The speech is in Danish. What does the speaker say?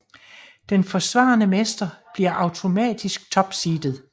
Den forsvarende mestre bliver automatisk topseedet